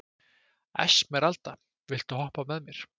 Esmeralda, viltu hoppa með mér?